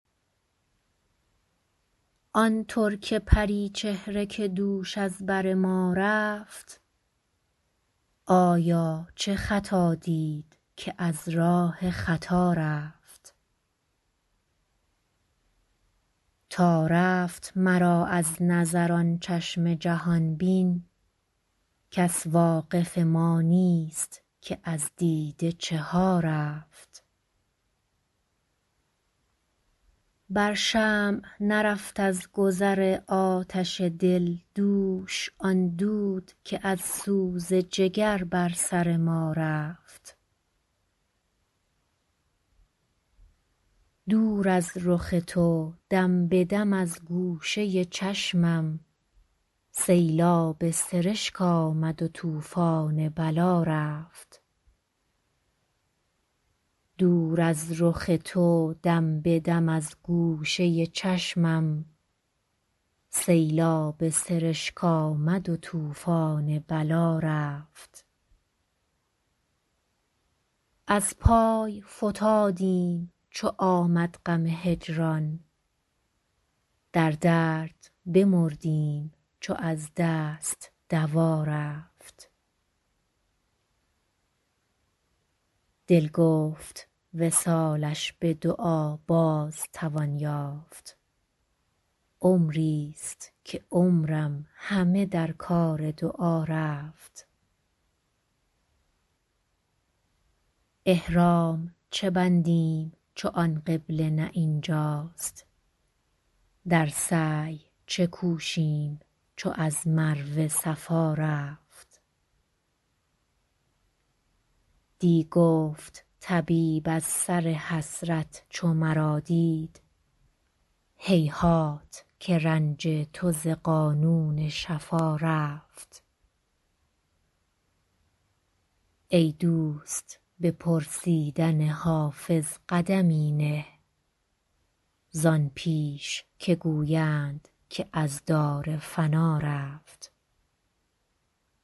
آن ترک پری چهره که دوش از بر ما رفت آیا چه خطا دید که از راه خطا رفت تا رفت مرا از نظر آن چشم جهان بین کس واقف ما نیست که از دیده چه ها رفت بر شمع نرفت از گذر آتش دل دوش آن دود که از سوز جگر بر سر ما رفت دور از رخ تو دم به دم از گوشه چشمم سیلاب سرشک آمد و طوفان بلا رفت از پای فتادیم چو آمد غم هجران در درد بمردیم چو از دست دوا رفت دل گفت وصالش به دعا باز توان یافت عمریست که عمرم همه در کار دعا رفت احرام چه بندیم چو آن قبله نه این جاست در سعی چه کوشیم چو از مروه صفا رفت دی گفت طبیب از سر حسرت چو مرا دید هیهات که رنج تو ز قانون شفا رفت ای دوست به پرسیدن حافظ قدمی نه زان پیش که گویند که از دار فنا رفت